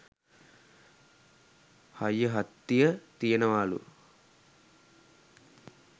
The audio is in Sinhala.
හයිය හත්තිය තියෙනවාලු.